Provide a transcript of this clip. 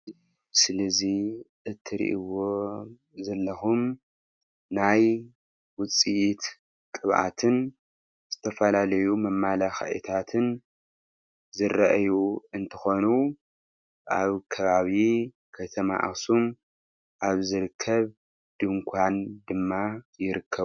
እዚ ምስሊ እዚ እትሪኢዎ ዘለኩም ናይ ውፂኢት ቅብአትን ዝተፈላለዩ መመለክዕታትን ዝረእዩ እንትኮኑ አብ ከባቢ ከተማ አክሱም አብ ዝርከብ ድንኳን ድማ ይርከቡ፡፡